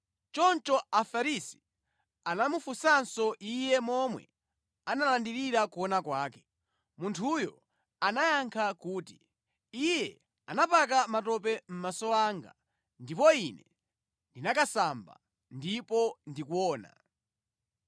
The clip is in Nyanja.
Choncho Afarisi anamufunsanso iye momwe analandirira kuona kwake. Munthuyo anayankha kuti, “Iye anapaka matope mʼmaso anga, ndipo ine ndinakasamba, ndipo ndikuona.”